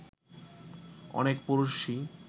অনেক পুরুষই